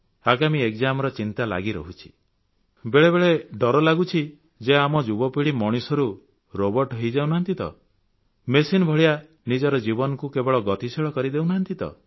ଆଗାମୀ examର ଚିନ୍ତା ଲାଗିରହିଛି ବେଳେବେଳେ ଡର ଲାଗୁଛି ଯେ ଆମ ଯୁବପୀଢ଼ି ମଣିଷରୁ ରୋବର୍ଟ ହୋଇଯାଉ ନାହାନ୍ତି ତ ମେସିନ୍ ଭଳିଆ ନିଜର ଜୀବନକୁ କେବଳ ଗତିଶୀଳ କରିଦେଉନାହାନ୍ତି ତ